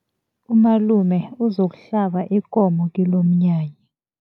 Umalume uzokuhlaba ikomo kilomnyanya.